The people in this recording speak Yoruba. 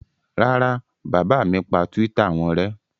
Rárá, bàbá mi pa Twitter wọn rẹ́.